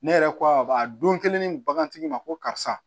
Ne yɛrɛ ko a don kelen ni bagantigi ma ko karisa